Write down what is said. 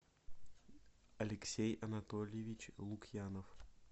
алексей анатольевич лукьянов